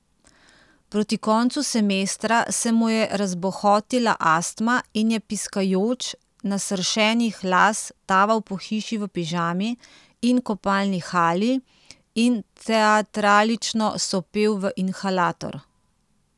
Proti koncu semestra se mu je razbohotila astma in je piskajoč, nasršenih las, taval po hiši v pižami in kopalni halji in teatralično sopel v inhalator.